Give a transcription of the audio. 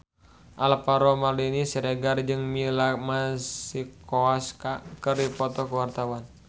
Alvaro Maldini Siregar jeung Mia Masikowska keur dipoto ku wartawan